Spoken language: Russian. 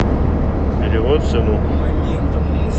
перевод сыну